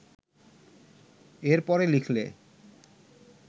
এর পরে লিখলে